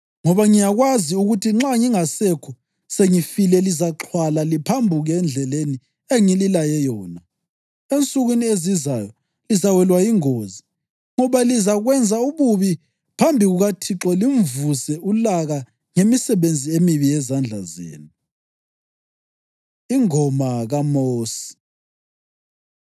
Ngoba ngiyakwazi ukuthi nxa ngingasekho sengifile lizaxhwala liphambuke endleleni engililaye yona. Ensukwini ezizayo, lizawelwa yingozi ngoba lizakwenza ububi phambi kukaThixo limvuse ulaka ngemisebenzi emibi yezandla zenu.” Ingoma KaMosi